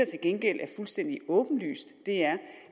til gengæld er fuldstændig åbenlyst er